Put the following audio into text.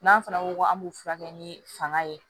N'an fana ko k'an b'u furakɛ ni fanga ye